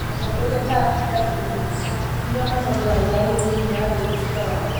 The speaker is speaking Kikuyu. Atongoria ta atungatĩri na Imam nĩo matongoragia arũmĩrĩri a wĩtĩkio wao